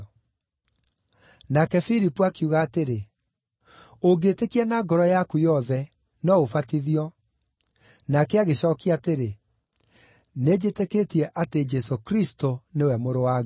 (Nake Filipu akiuga atĩrĩ, “Ũngĩĩtĩkia na ngoro yaku yothe, no ũbatithio.” Nake agĩcookia atĩrĩ, “Nĩnjĩtĩkĩtie atĩ Jesũ Kristũ nĩwe Mũrũ wa Ngai.)”